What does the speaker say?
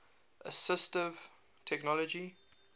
assistive technology